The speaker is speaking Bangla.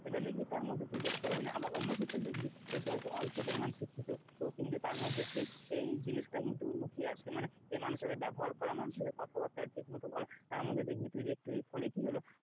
সেটা দেখবি তার মধ্যে তুই দেখতে পাবি না আবার অন্য ক্ষেত্রে দেখবি হয়তো অল্প পরিমাণ শিক্ষিত তো কিন্তু তার মধ্যে এই জিনিসটা কিন্তু লুকিয়ে আছে, মানে মানুষের সাথে ব্যবহার করা মানুষের সাথে কথাবার্তা ঠিক মতো বলা, তারমধ্যে দেখবি তুই দেখতে পাবি, ফলে কি হলো,